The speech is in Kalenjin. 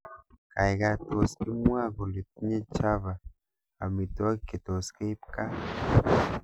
Gaigai tos imwaa kole tinye chava amitwogik Chetos keip gaa